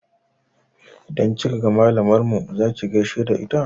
Idan kika ga malamar mu za ki gaishe da ita?